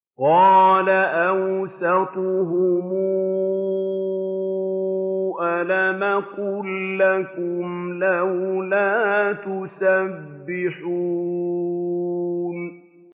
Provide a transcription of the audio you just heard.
قَالَ أَوْسَطُهُمْ أَلَمْ أَقُل لَّكُمْ لَوْلَا تُسَبِّحُونَ